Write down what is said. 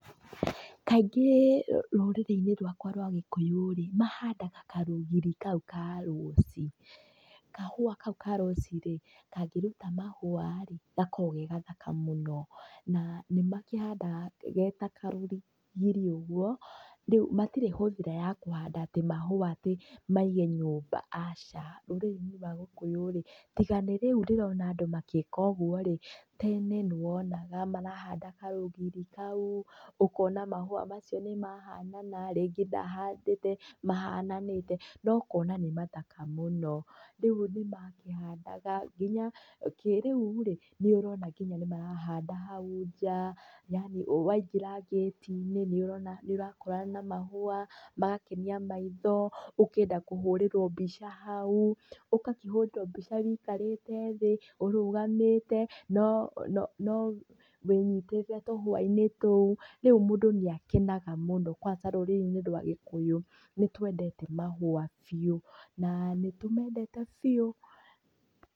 Kaingi, rũrĩrĩ-inĩ rwakwa rwa gĩkũyũ rĩ, mahandaga karũgiri kau ka rosi, kahũa kau ka rosi rĩ, kangĩruta mahũa rĩ gakoo ge gathaka mũno, ba nĩmakĩhandaga geta karũgiri ũguo, rĩu matirĩ hũthĩra ya kũhanda atĩ mahũa atĩ maige nyũmba aca, ũndũyũ wa gũkũ rĩ, tiga nĩ rĩu ndĩrona andũ magĩka ũguo rĩ, tene nĩwonaga marahanda karúgiri kau, ũkona mahũa mau nĩmahanana, ringĩ ndahandĩte mahananĩnete, nokona nĩ mathaka mũno, rĩu nĩmakĩhandaga nginya, kĩrĩurĩ, nĩũrona nginya nĩmarahanda hau njaa, yani waingĩra ngĩti-inĩ nĩũrona, nĩũrakorana na mahúa, magakenia maitho, ũkenda kũhũrĩrwo mbica hau, ũgakĩhũrĩrwo mbica wũikarĩte thĩĩ, ũrũgamĩte, no no nowĩnyitĩte tũhũa-inĩ tũu rĩu mũndũ nĩakenaga mũno kwansa rũrĩrĩ-inĩ rwa gĩkũyũ, nĩtwendete mahũa biũ, nanĩtumendete biũ.